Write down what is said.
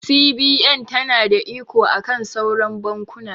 CBN ta na da iko akan sauran bankuna